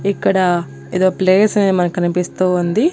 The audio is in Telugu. ఇక్కడ ఏదో ప్లేస్ అనేది మనకు కనిపిస్తూ ఉంది.